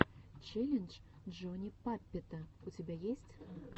челлендж джони паппета у тебя есть